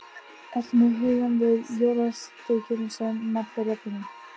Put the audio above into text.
Ertu með hugann við jólasteikina sem mallar í ofninum?